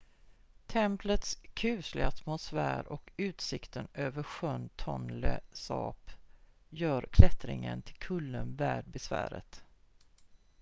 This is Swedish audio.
templets kusliga atmosfär och utsikten över sjön tonle sap gör klättringen till kullen värd besväret